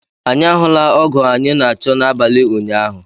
Anyi ahụla ọgo anyị na achọ n'abali ụnyaahụ